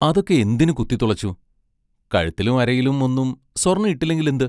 അതൊക്കെ എന്തിനു കുത്തിത്തുളച്ചു കഴുത്തിലും അരയിലും ഒന്നും സ്വർണ്ണം ഇട്ടില്ലെങ്കിലെന്ത്?